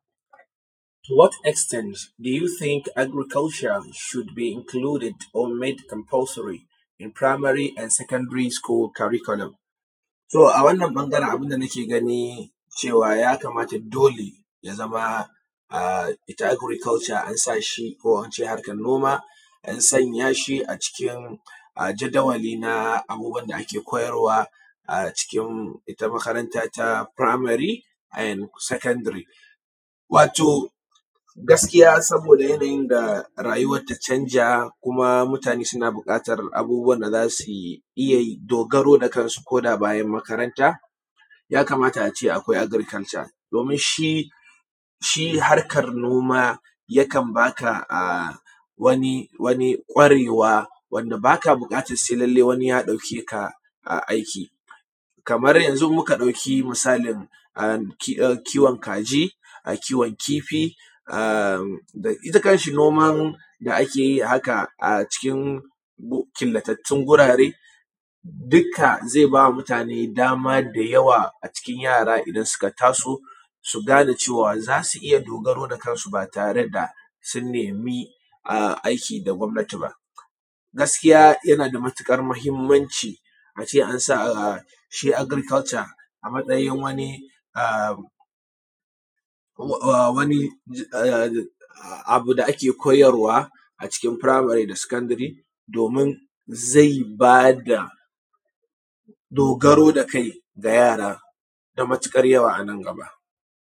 To what extent do you think agriculture should be included or made compulsory in primary and secondary curriculum? To a wanan ɓangaren abin da nake gani cewa ya kamata dole ya zama ita agriculture an sa shi ko a ce harkar noma, an sanya shi a cikin jadawali na abubuwan da ake koyarwa a cikin ita makaranta ta primary and secondary. Wato gaskiya saboda yanayin da rayuwar ta canja kuma mutane suna buƙatar abubuwan da za su iya yi, dogaro da kansu ko da bayan makaranta, ya kamata a ce akwai agriculture, domin shi, shi harkar noma yakan ba ka wani, wani ƙwarewa, wanda ba ka buƙatar lallai sai wani ya ɗauke ka aiki. Kamar yanzun muka ɗauki misalin kiwon kaji, kiwon kifi, ita kanshi noman da ake yi haka a cikin killatattun gurare, dukka zai ba mutane dama da yawa a cikin yara idan suka taso, su gane cewa za su iya dogaro da kansu, ba tare da sun nemi aiki da gwamnati ba. Gaskiya yana da matuƙar muhimmanci a ce an sa shi agriculture a matsayin wani, wani abu da ake koyarwa a cikin primary da secondary domin zai ba da dogaro da kai ga yara da matuƙar yawa a nan gaba.